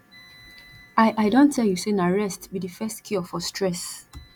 i i don tell you sey na rest be di first cure for stress